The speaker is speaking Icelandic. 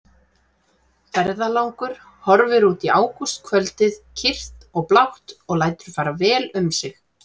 Ferðalangur horfir út í ágústkvöldið kyrrt og blátt og lætur fara vel um sig.